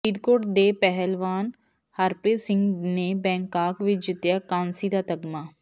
ਫਰੀਦਕੋਟ ਦੇ ਪਹਿਲਵਾਨ ਹਰਪ੍ਰੀਤ ਸਿੰਘ ਨੇ ਬੈਂਕਾਕ ਵਿੱਚ ਜਿੱਤਿਆ ਕਾਂਸੀ ਦਾ ਤਗ਼ਮਾ